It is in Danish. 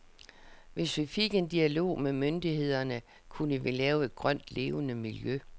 Hvis vi fik en dialog med myndighederne, kunne vi lave et grønt, levende miljø.